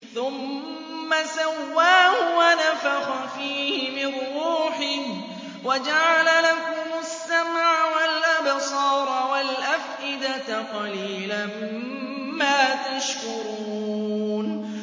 ثُمَّ سَوَّاهُ وَنَفَخَ فِيهِ مِن رُّوحِهِ ۖ وَجَعَلَ لَكُمُ السَّمْعَ وَالْأَبْصَارَ وَالْأَفْئِدَةَ ۚ قَلِيلًا مَّا تَشْكُرُونَ